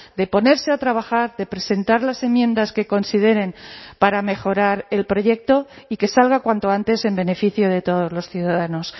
de ponerse a trabajar de presentar las enmiendas que consideren para mejorar el proyecto y que salga cuanto antes en beneficio de todos los ciudadanos